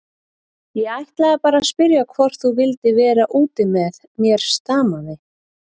Ég ætlaði bara að spyrja hvort þú vildir vera úti með mér stamaði